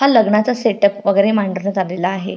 हा लग्नाचा सेटप वगेरे मांडण्यात आलेला आहे.